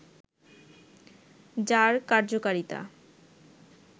যার কার্যকারিতা